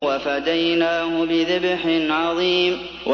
وَفَدَيْنَاهُ بِذِبْحٍ عَظِيمٍ